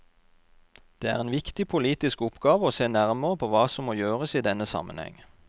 Det er en viktig politisk oppgave å se nærmere på hva som må gjøres i denne sammenheng.